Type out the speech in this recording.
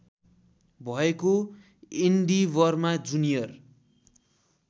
भएको एन्डिवरमा जुनियर